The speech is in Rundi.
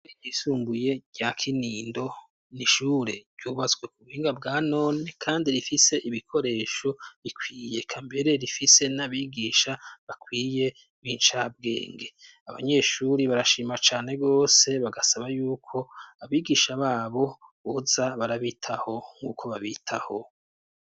Isumbuye rya Kinindo, n'ishure ryubatswe ku buhinga bwa none kandi rifise ibikoresho bikwiye eka mbere rifise n'abigisha bakwiye b'incabwenge, abanyeshuri barashima cane gose bagasaba y'uko abigisha babo boza barabitaho nk'uko babitaho.